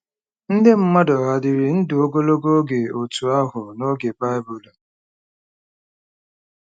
Ndị mmadụ hà dịrị ndụ ogologo oge otú ahụ n'oge Baịbụl?